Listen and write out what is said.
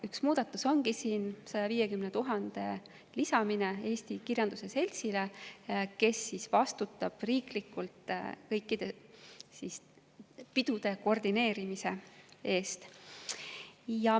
Üks muudatus seetõttu ongi 150 000 euro lisamine Eesti Kirjanduse Seltsile, kes vastutab riiklikult kõikide nende pidude koordineerimise eest.